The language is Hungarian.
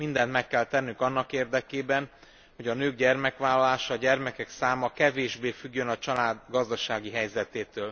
Mindent meg kell tennünk annak érdekében, hogy a nők gyermekvállalása, a gyermekek száma kevésbé függjön a család gazdasági helyzetétől.